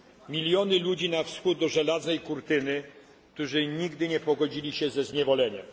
Miliony ludzi na wschód od żelaznej kurtyny, którzy nigdy nie pogodzili się ze zniewoleniem.